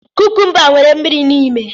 Kukumba nwere mmiri n'ime.